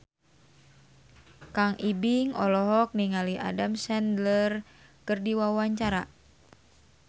Kang Ibing olohok ningali Adam Sandler keur diwawancara